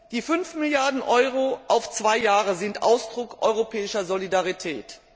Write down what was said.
Die 5 Milliarden EUR auf zwei Jahre sind Ausdruck europäischer Solidarität.